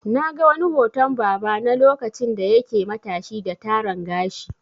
Na ga wani hoton baba na lokacin da yake matashi da Taran gashi.